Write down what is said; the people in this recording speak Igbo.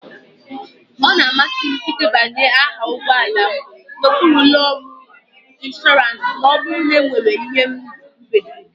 Ọ na-amasị m ịdebanye aha ụgbọ ala m n'okpuru ụlọ ọrụ inshọransị ma ọ bụrụ na enwere ihe mberede